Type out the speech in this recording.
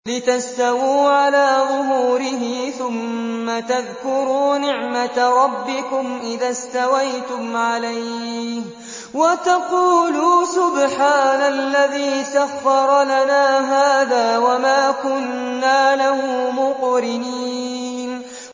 لِتَسْتَوُوا عَلَىٰ ظُهُورِهِ ثُمَّ تَذْكُرُوا نِعْمَةَ رَبِّكُمْ إِذَا اسْتَوَيْتُمْ عَلَيْهِ وَتَقُولُوا سُبْحَانَ الَّذِي سَخَّرَ لَنَا هَٰذَا وَمَا كُنَّا لَهُ مُقْرِنِينَ